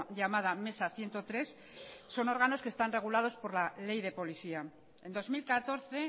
llamada mesa ciento tres son órganos que están regulados por la ley de policía en dos mil catorce